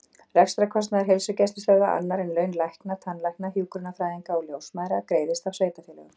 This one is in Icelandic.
Rekstrarkostnaður heilsugæslustöðva, annar en laun lækna, tannlækna, hjúkrunarfræðinga og ljósmæðra, greiðist af sveitarfélögum.